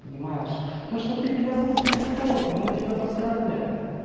понимаешь то что ты педагог дефектолог но я тебя поздравляю